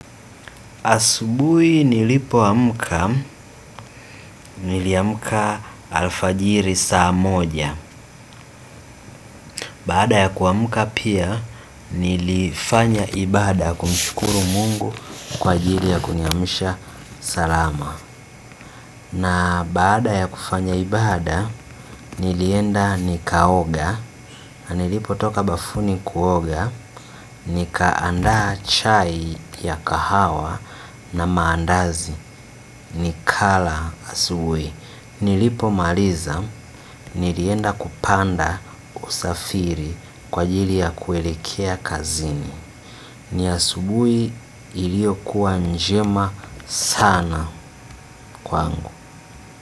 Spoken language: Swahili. Asubuhi nilipoamka, niliamka alfajiri saa moja. Baada ya kuamka pia nilifanya ibaada kumshukuru mungu kwa ajili ya kuniamsha salama. Na baada ya kufanya ibaada, nilienda nikaoga, na nilipotoka bafuni kuoga, nikaanda chai ya kahawa na maandazi, nikala asubuhi. Nilipomaliza nilienda kupanda usafiri kwa ajili ya kuelekea kazini. Ni asubuhi iliyokuwa njema sana kwangu.